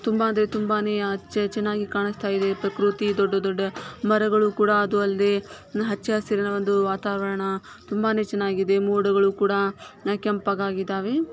ತುಂಬಾಂದ್ರೆ ತುಂಬಾನೇ ಚೆನ್ನಾಗಿ ಕಾಣಸ್ತಾ ಇದೆ ಪಕೃತಿ ದೊಡ್ಡ ದೊಡ್ಡ ಮರಗಳು ಕೂಡ ಅದು ಅಲ್ದೆ ಹಚ್ಚ ಹಸ್ರಿನ ಒಂದು ವಾತಾವರಣ ತುಂಬಾನೇ ಚೆನ್ನಾಗಿದೆ ಮೋಡಗಳು ಕುಡ ಕೆಂಪ್ಪಗಿದೆ .